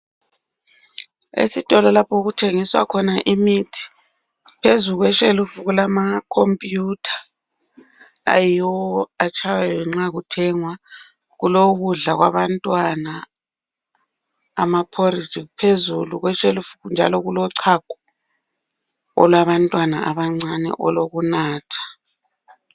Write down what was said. Esitolo lapho okuthengiswa khona imithi phezu kweshelufu kulamakhompuyutha ayiwo atshaywayo nxa kuthengwa kulokudla kwabantwana ilambazi phezulu kweshelufu njalo kulochago olwabantwana abancane olokunatha.